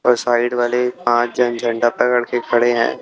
और साइड वाले पांच जन झंडा पकड़ के खड़े है।